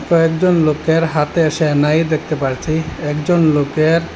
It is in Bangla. কয়েকজন লোকের হাতে সেহনাই দেকতে পারচি একজন লোকের --